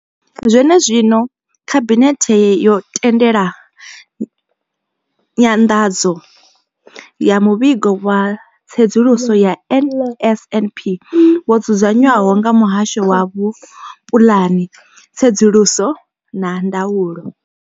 Zwene zwino, Khabinethe yo tendela nyanḓadzo ya Muvhigo wa Tsedzuluso ya NSNP wo dzudzanywaho nga Muhasho wa Vhupulani, Tsedzuluso na Ndaulo.